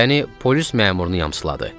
Yəni polis məmurunu yamsıladı.